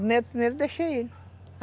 O primeiro o primeiro eu deixei ele.